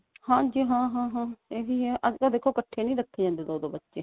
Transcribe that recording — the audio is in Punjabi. ਹਾਂਜੀ ਹਾਂ ਹਾਂ ਇਹੀ ਆ ਅੱਜਕਲ ਦੇਖੋ ਇੱਕਠੇ ਨਹੀ ਰੱਖੇ ਜਾਂਦੇ ਦੋ ਦੋ ਬੱਚੇ